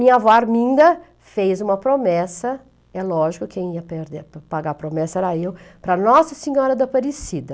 Minha avó Arminda fez uma promessa, é lógico que quem ia perder, pagar a promessa era eu, para Nossa Senhora da Aparecida.